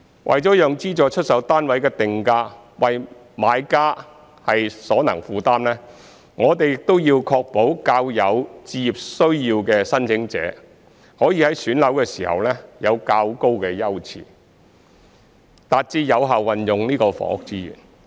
除了讓資助出售單位的定價為買家所能負擔，我們亦要確保較有置業需要的申請者，可以在選樓時享有較高優次，達致有效運用房屋資源。